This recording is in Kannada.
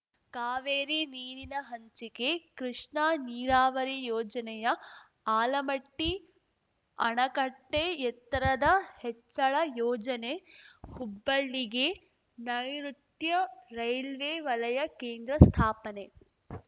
ಕಾವೇರಿ ನೀರಿನ ಹಂಚಿಕೆ ಕೃಷ್ಣಾ ನೀರಾವರಿ ಯೋಜನೆಯ ಆಲಮಟ್ಟಿಅಣಕಟ್ಟೆಎತ್ತರದ ಹೆಚ್ಚಳ ಯೋಜನೆ ಹುಬ್ಬಳ್ಳಿಗೆ ನೈಋುತ್ಯ ರೈಲ್ವೇ ವಲಯ ಕೇಂದ್ರ ಸ್ಥಾಪನೆ